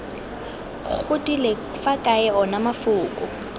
godile fa kae ona mafoko